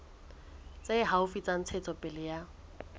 tse haufi tsa ntshetsopele ya